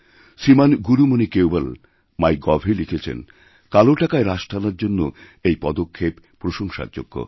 শ্রীমান গুরুমণি কেওবল মাই গভএ লিখেছেন কালো টাকায় রাশ টানার জন্যএই পদক্ষেপ প্রশংসার যোগ্য